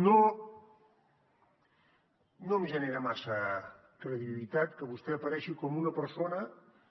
no em genera massa credibilitat que vostè aparegui com una persona